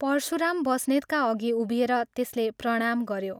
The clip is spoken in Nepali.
परशुराम बस्नेतका अघि उभिएर त्यसले प्रणाम गऱ्यो।